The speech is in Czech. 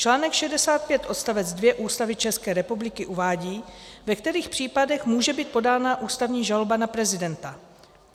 Článek 65 odstavec 2 Ústavy České republiky uvádí, ve kterých případech může být podána ústavní žaloba na prezidenta.